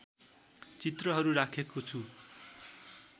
चित्रहरू राखेको छु